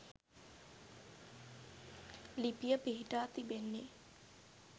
ලිපිය පිහිටා තිබෙන්නේ